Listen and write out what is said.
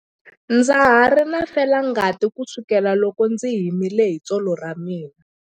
Ndza ha ri na felangati kusukela loko ndzi himile hi tsolo ra mina.